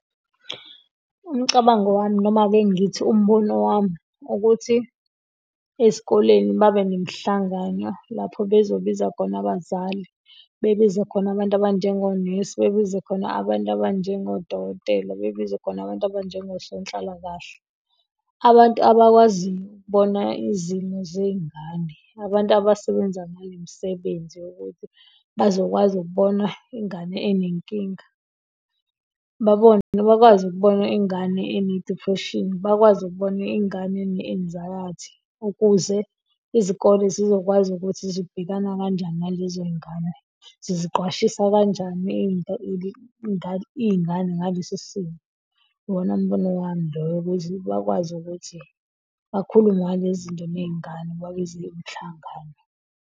Umcabango wami noma ake ngithi umbono wami ukuthi, esikoleni babe nemihlangano lapho bezobiza khona abazali, bebize khona abantu abanjengonesi, bebize khona abantu abanjengodokotela, bebiza khona abantu abanjengo sonhlalakahle. Abantu abakwaziyo ukubona izimo zey'ngane, abantu abasebenza ngalo msebenzi wokuthi bazokwazi ukubona ingane enenkinga, babone bakwazi ukubona ingane ene-depression, bakwazi ukubona ingane ene-anxiety, ukuze izikole sizokwazi ukuthi zibhekana kanjani nalezo zingane, ziziqwashisa kanjani into iy'ngane ngalesi simo. Uwona mbono wami loyo ukuthi bakwazi ukuthi kakhulume ngalezinto ney'ngane babize umhlangano.